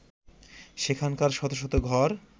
সেখানকার শত শত ঘর